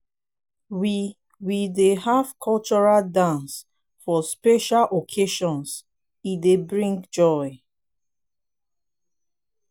we we dey have cultural dances for special occasions e dey bring joy.